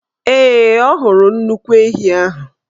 Ee, ọ hụrụ nnukwu ehi ahụ.